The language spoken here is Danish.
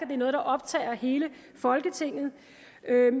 det er noget der optager hele folketinget